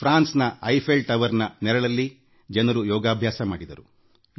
France ನ Eiffel ಗೋಪುರದ ನೆರಳಲ್ಲಿ ಜನರು ಯೋಗ ಪ್ರದರ್ಶನ ಕೈಗೊಂಡರು